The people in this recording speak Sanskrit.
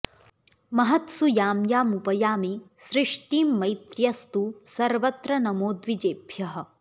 महत्सु यां यामुपयामि सृष्टिं मैत्र्यस्तु सर्वत्र नमो द्विजेभ्यः